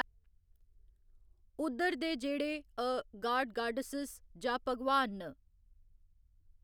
उद्धर दे जेह्ड़े अऽ गाड गाड्डैसिज या भगवान न।